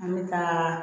An bɛ ka